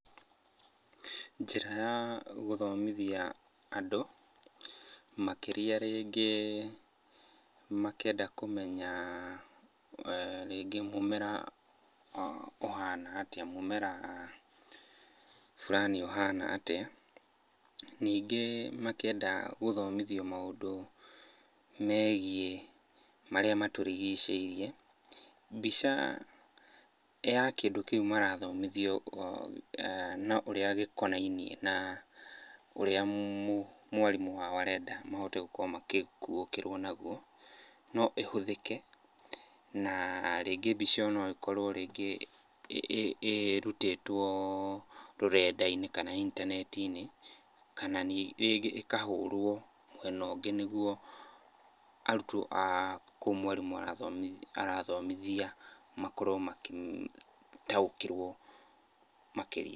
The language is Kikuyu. Njĩra ya gũthomithia andũ makĩria rĩngĩ makĩenda kũmenya rĩngĩ mũmera ũhana atĩa, mũmera fulani ũhana atĩa. Ningĩ makĩenda gũthomithio maũndũ megiĩ marĩa matũrigicĩirie, mbica ya kĩndũ kĩu marathomithio na ũrĩa gĩkonainie na ũrĩa mwarimũ wao arenda mahote gũkorwo makĩkuũkĩrwo naguo no ĩhũthĩke, na rĩngĩ mbica ĩyo no ĩkorwo rĩngĩ ĩrutĩtwo rũrenda-inĩ kana intaneti-inĩ kana rĩngĩ ĩkahũrwo mwena ũngĩ, nĩguo arutwo a kũu mwarimũ arathomithia makorwo makĩtaũkĩrwo makĩria.